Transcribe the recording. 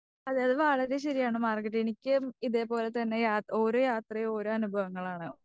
അതെ അത് വളരെ ശരിയാണ് മാർഗരറ്റെ. എനിക്കും ഇതേപോലെതന്നെ യാ ഓരോ യാത്രയും ഒരോ അനുഭവങ്ങളാണ്.